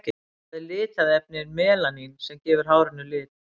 það er litarefnið melanín sem gefur hárinu lit